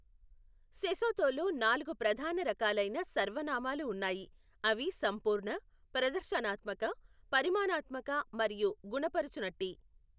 సెసోతోలో నాలుగు ప్రధాన రకాలైన సర్వనామాలు ఉన్నాయి, అవి సంపూర్ణ, ప్రదర్శనాత్మక, పరిమాణాత్మక మరియు గుణపరచునట్టి.